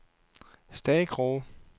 Stakroge